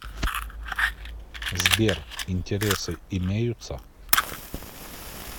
сбер интересы имеются